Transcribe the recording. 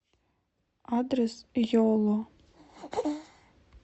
адрес йоло